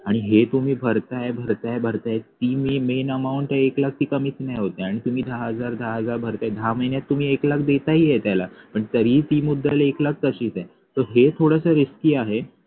आणि हे तुम्ही भरताय भरताय भरताय ते main amount एक लाख ती कमीच नाही होते आणि तुम्ही दहा हजार दहा हजार भरताय दहा महिन्यात तुम्ही एक लाख देताही आहे त्याला पण तरीही ती मुद्दल एक लाख तशीच आहे तर हे थोडस risky आहे